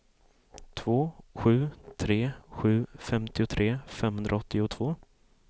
två sju tre sju femtiotre femhundraåttiotvå